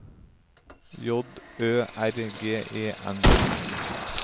J Ø R G E N